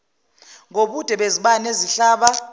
ngobude bezibani ezihlaba